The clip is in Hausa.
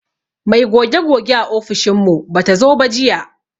Mai goge goge a ofishin mu bata zo ba jiya.